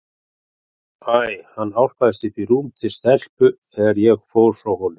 Æ, hann álpaðist upp í rúm til stelpu þegar ég fór frá honum.